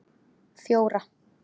fjóra